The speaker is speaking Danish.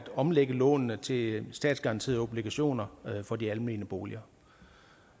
omlægge lånene til statsgaranterede obligationer for de almene boliger